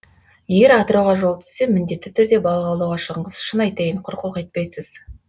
егер атырауға жол түссе міндетті түрде балық аулауға шығыңыз шын айтайын құр қол қайтпайсыз